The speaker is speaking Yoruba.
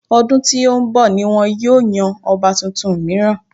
Ọdún tí ó ń bọ̀ ni wọn yóò yan ọba tuntun mìíràn.